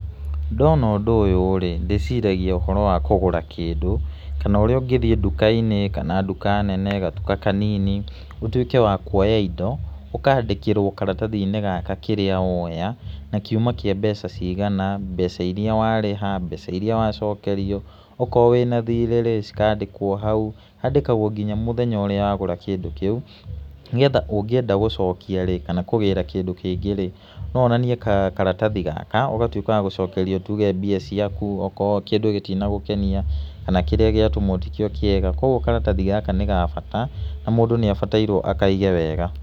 Ndona ũndũ ũyu-rĩ ndĩciragia ũhoro wa kũgũra kĩndũ kana ũrĩa ũngĩthĩe nduka-inĩ kana nduka nene gatuka kanini ũtuĩke wa kũoya indo ũkandĩkirwo karatathi-inĩ gaka kĩrĩa woya na kuma kia mbeca cigana mbeca iria warĩha mbeca iria wacokerio okorwo wĩna thirĩ rĩ cikandkwo hau, handĩkagwo nginya mũthenya ũrĩa wagũra kĩndũ kĩu nĩgetha ũngĩenda gũcokia rĩ kana kũgĩra kĩndũ kĩngĩ rĩ no wonanie na karatathi gaka ũgatũĩka wa gũcokerio tuge mbia ciaku okorwo kĩndũ gĩtinagũkenia kana kĩrĩa gĩatũmwo tikĩo kĩega kwa ũguo karatathi gaka nĩ ga bata na mũndũ nĩ abatairwo akaige wega.